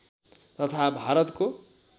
तथा भारतको